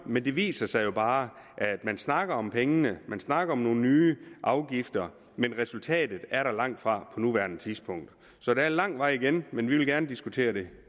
men det viser sig jo bare at man snakker om pengene man snakker om nogle nye afgifter men resultatet er der langtfra på nuværende tidspunkt så der er lang vej igen men vi vil gerne diskutere det